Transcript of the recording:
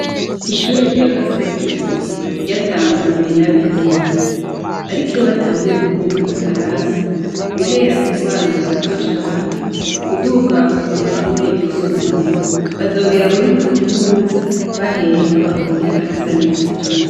Ishure rya Gasekebuye, ryatangujwe n'abigenga. Ariko iyo batanguye kuvuga igifaransa, guhera ku bana bato cane, kuduga kw'ishure ryisumbuye, bazogera muri kaminuza, baheha bavuga igifaransa neza cane.